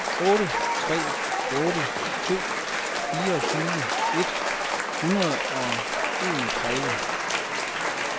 otte tre otte to fireogtyve et hundrede og enogtredive